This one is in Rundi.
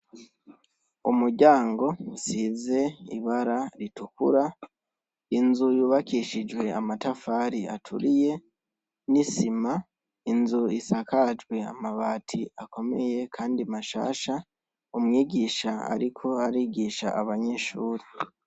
Umuryango usize ibara ritukura, inzu yubakishijwe amatafari aturiye n' isima, inzu isakajwe amabati akomeye kandi mashasha, umwigisha ariko arigisha abanyeshuri.